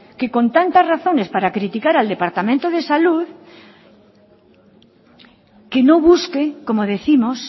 que con tanta razones para criticar al departamento de salud que no busque como décimos